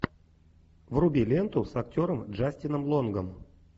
вруби ленту с актером джастином лонгом